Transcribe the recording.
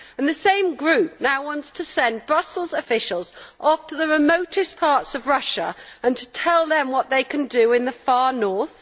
The same group now wants to send Brussels officials off to the remotest parts of Russia to tell them what they can do in the far north.